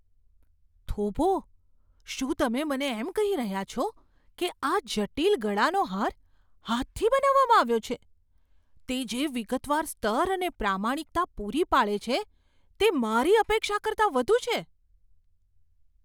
થોભો, શું તમે મને એમ કહી રહ્યા છો કે આ જટિલ ગળાનો હાર હાથથી બનાવવામાં આવ્યો છે? તે જે વિગતવાર સ્તર અને પ્રામાણિકતા પૂરી પાડે છે તે મારી અપેક્ષા કરતાં વધુ છે!